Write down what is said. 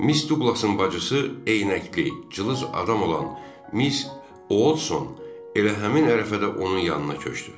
Miss Duqlasın bacısı eyinəkli, cılız adam olan Miss Odson elə həmin ərəfədə onun yanına köçdü.